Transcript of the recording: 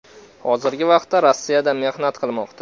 Hozirgi vaqtda Rossiyada mehnat qilmoqda.